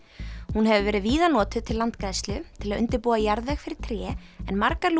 hún hefur verið víða notuð til landgræðslu til að undirbúa jarðveg fyrir tré en margar